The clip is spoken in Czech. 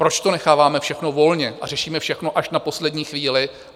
Proč to necháváme všechno volně a řešíme všechno až na poslední chvíli?